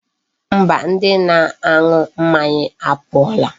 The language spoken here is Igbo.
Mba, ndi na-anu mmanya apuola.